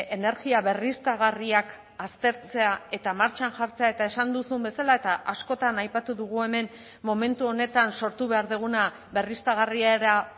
energia berriztagarriak aztertzea eta martxan jartzea eta esan duzun bezala eta askotan aipatu dugu hemen momentu honetan sortu behar duguna berriztagarriara